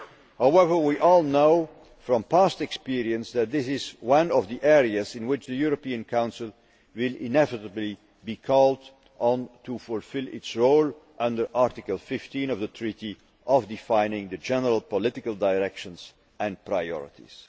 However, we all know from past experience that this is one of the areas in which the European Council will inevitably be called on to fulfil its role, under Article 15 of the Treaty, of defining the general political directions and priorities'.